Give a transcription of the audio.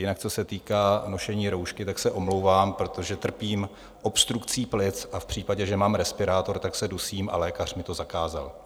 Jinak co se týká nošení roušky, tak se omlouvám, protože trpím obstrukcí plic, a v případě, že mám respirátor, tak se dusím, a lékař mi to zakázal.